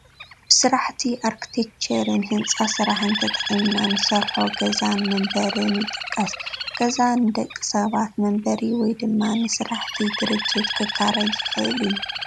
ብስራሕቲ ኣርክቴክቸርን ህንፃ ስራሕን ተጠቒምና እንሰርሖ ገዛን መንበርን ይጥቀስ፡፡ ገዛ ንደቂ ሰባት መንበሪ ወይ ድማ ንስራሕቲ ድርጅት ክካረይ ዝኽእል እዩ፡፡